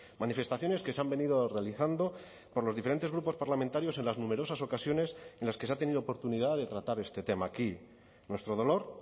manifestaciones que se han venido realizando por los diferentes grupos parlamentarios en las numerosas ocasiones en las que se ha tenido oportunidad de tratar este tema aquí nuestro dolor